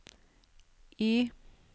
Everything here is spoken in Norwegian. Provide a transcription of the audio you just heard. Y